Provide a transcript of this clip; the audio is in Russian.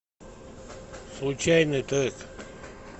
случайный трек